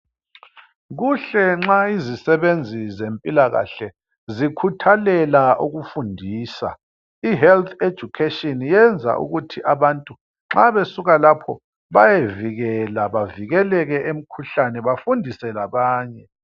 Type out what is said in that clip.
Kuhle nxa izisebenzi zempilakahle zikhuthalela ukufundisa. I health education yenza ukuthi abantu nxa besuka lapho bayevikela bevikeleke emkhuhlane bafundise labanye.